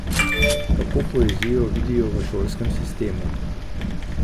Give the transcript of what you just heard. Kako poezijo vidijo v šolskem sistemu?